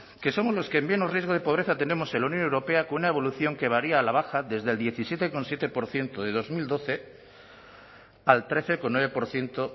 que somos los que menos riesgo de pobreza tenemos en la unión europea con una evolución que varía a la baja desde el diecisiete coma siete por ciento de dos mil doce al trece coma nueve por ciento